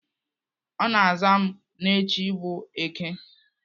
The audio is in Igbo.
Ọ na-aza m na echi bụ Èké